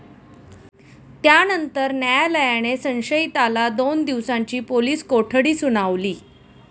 त्यानंतर न्यायालयाने संशयिताला दोन दिवसांची पोलीस कोठडी सुनावली.